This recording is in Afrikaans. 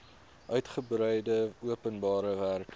uitgebreide openbare werke